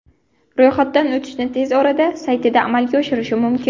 Ro‘yxatdan o‘tishni tez orada saytida amalga oshirish mumkin.